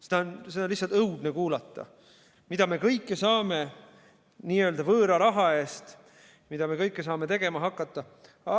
Seda on lihtsalt õudne kuulata, mida me kõike saame n-ö võõra raha eest tegema hakata.